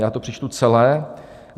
Já to přečtu celé: